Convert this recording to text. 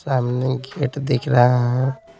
सामने गेट दिख रहा है।